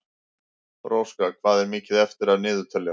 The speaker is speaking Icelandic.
Róska, hvað er mikið eftir af niðurteljaranum?